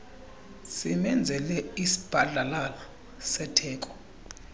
simenzele isibhadlalala setheko